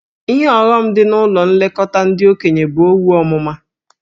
Ihe ọghọm dị na ụlọ nlekọta ndị okenye bụ owu ọmụma.